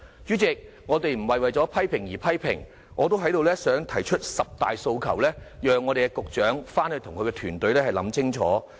主席，我們不是為批評而批評，但我想在此提出十大訴求，讓局長回去與團隊想清楚。